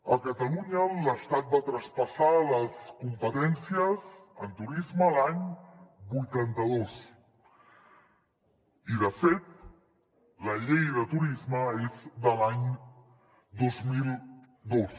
a catalunya l’estat va traspassar les competències en turisme l’any vuitanta dos i de fet la llei de turisme és de l’any dos mil dos